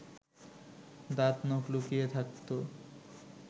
দাঁত নখ লুকিয়ে থাকতো